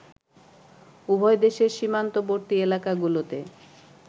উভয় দেশের সীমান্তবর্তী এলাকাগুলোতে